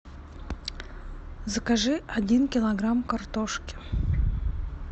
закажи один килограмм картошки